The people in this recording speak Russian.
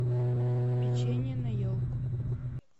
печенье на елку